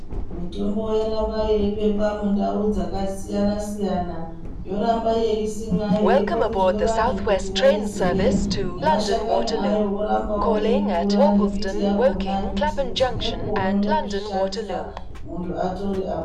Mitombo yorambe yeibekwa mundau dzakasiyana siyana yorambe yeisimwa yokombedzwa vantu kuti yaiziye nemashakani ayo orambawo eikura nembiti yakona kuitira kuti iye anoda kuzvishandisa muntu atore apone.